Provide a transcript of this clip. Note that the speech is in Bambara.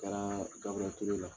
Taara Gaburɛli Ture la.